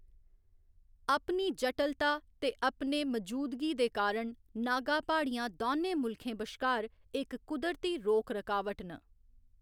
अपनी जटलता ते अपने मजूदगी दे कारण नागा प्हाड़ियां दौनें मुल्खें बश्कार इक कुदरती रोक रकावट न।